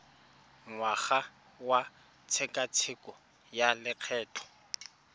ngwaga wa tshekatsheko ya lokgetho